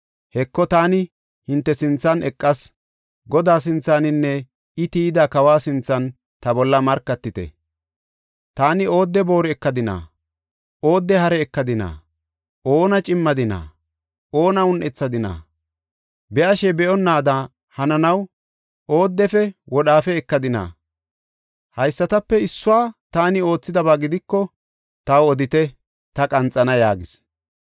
Heko, taani hinte sinthan eqas; Godaa sinthaninne I tiyida kawa sinthan ta bolla markatite. Taani oodde booru ekadina? Oodde hare ekadina? Oona cimmadina? Oona un7ethadina? Be7ashe be7onnaada hananaw oodefe wodhaafe ekadina? Haysatape issuwa taani oothidaba gidiko taw odite; ta qanxana” yaagis.